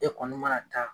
E kɔni mana taa